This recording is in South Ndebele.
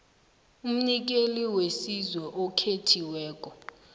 umnikeli wesizo okhethiweko